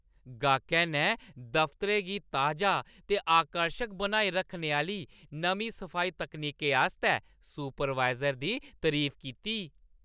गाह्कै ने दफतरै गी ताजा ते आकर्शक बनाई रक्खने आह्‌ली नमीं सफाई तकनीकें आस्तै सुपरवाइज़र दी तरीफ कीती।